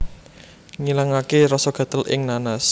Ngilangaké rasa gatel ing nanas